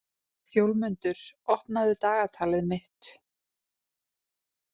Fjólmundur, opnaðu dagatalið mitt.